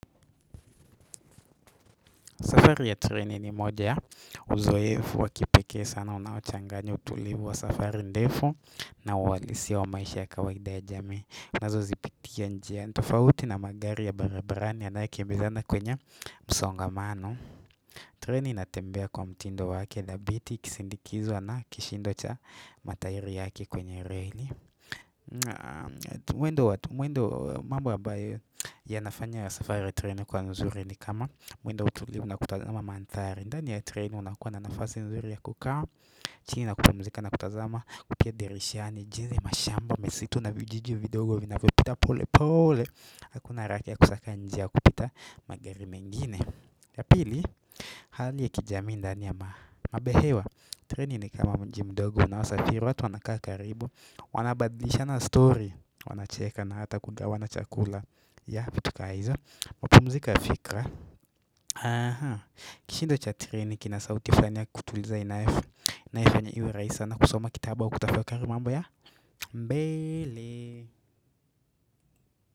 Safari ya treni ni moja ya uzoefu wa kipeke sana unaochanganya tulivu wa safari ndefu na uhalisia wa maisha ya kawaida ya jamii. Nazozipiktikia njia tofauti na magari ya barabarani yanaye kimbizana kwenye msongamano. Treni inatembea kwa mtindo wake inabidi ikisindikizwa na kishindo cha matairi yake kwenye reini. Mwendo mwendo mambo ambayo yanafanya ya safari treni kuwa nzuri ni kama mwendo mtulivu na kutazama mandhari ndani ya treni unakua na nafasi nzuri ya kukaa chini na kukumuzika na kutazama kupitia dirishani jinsi mashamba misitu na vijiji vidogo vinavyopita pole pole hakuna haraka ya kusaka njia ya kupita magari mengine ya pili hali ya kijamii ndani ya mabehewa. Treni ni kama mji mdogo unaosafiri watu wanakaa karibu wanabadishana na story wana cheka na hata kugawana chakula ya vitu kaa hizo mapumziko ya fikra kishindo cha treni kina sautifanya kutuliza inayofanya iwe rahisi sana kusoma kitabu wa kutafakari mambo ya mbele.